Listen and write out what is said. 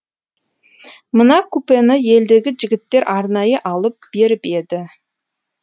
мына купені елдегі жігіттер арнайы алып беріп еді